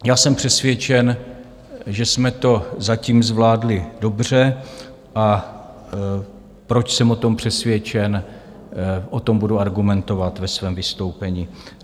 Já jsem přesvědčen, že jsme to zatím zvládli dobře, a proč jsem o tom přesvědčen, o tom budu argumentovat ve svém vystoupení.